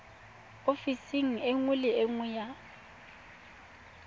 ofising nngwe le nngwe ya